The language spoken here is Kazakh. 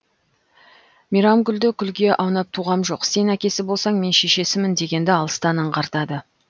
мейірамкүлді күлге аунап туғам жоқ сен әкесі болсаң мен шешесімін дегенді алыстан аңғартады